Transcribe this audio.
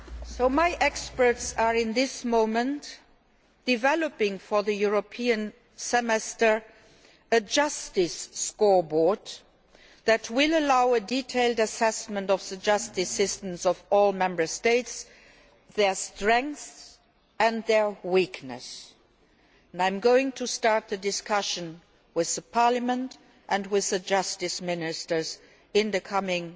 So my experts are at this moment developing for the European Semester a justice scoreboard that will allow a detailed assessment of the justice systems of all Member States, their strengths and their weaknesses and I am going to start a discussion with Parliament and with the justice ministers in the coming